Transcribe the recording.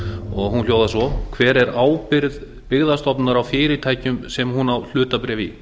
og hún hljóðar svo hver er ábyrgð byggðastofnunar á fyrirtækjum sem hún á hlutabréf í